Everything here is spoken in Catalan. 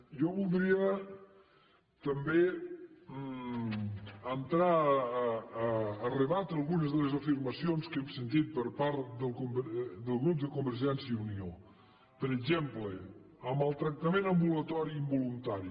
jo voldria també entrar a rebatre algunes de les afirmacions que hem sentit per part del grup de convergència i unió per exemple amb el tractament ambulatori involuntari